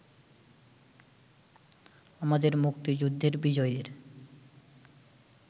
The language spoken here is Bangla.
আমাদের মুক্তিযুদ্ধের বিজয়ের